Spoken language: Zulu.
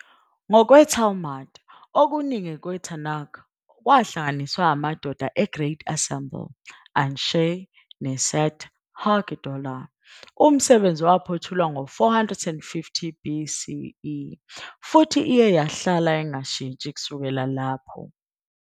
Ngokwe- Talmud, okuningi kweTanakh kwahlanganiswa amadoda e- Great Assembly, "Anshei K'nesset HaGedolah", umsebenzi owaphothulwa ngo-450 BCE, futhi iye yahlala ingashintshi kusukela lapho.